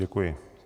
Děkuji.